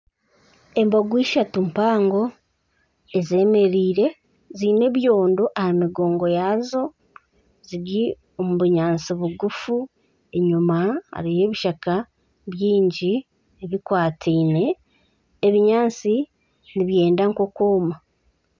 Embogo ishatu mpango ezemereire ziine ebyondo aha migongo yaazo. Ziri omu bunyaatsi bugufu enyima hariyo ebishaka byingi bikwatiine. Ebinyaatsi nibyenda nk'okwoma.